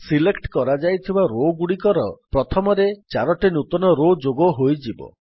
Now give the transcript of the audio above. select କରାଯାଇଥିବା Rowଗୁଡିକର ପ୍ରଥମରେ ୪ଟି ନୂତନ ରୋ ଯୋଗ ହୋଇଯିବ